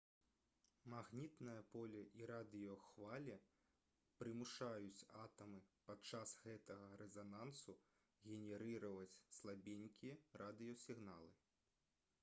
магнітнае поле і радыёхвалі прымушаюць атамы падчас гэтага рэзанансу генерыраваць слабенькія радыёсігналы